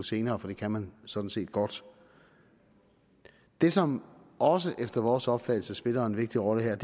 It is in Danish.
senere for det kan man sådan set godt det som også efter vores opfattelse spiller en vigtig rolle her